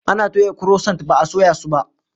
Ana toya kurosant ba a soya su ba.